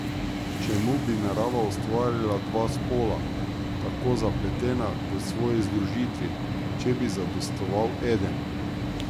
Čemu bi narava ustvarila dva spola, tako zapletena v svoji združitvi, če bi zadostoval eden.